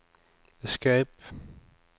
escape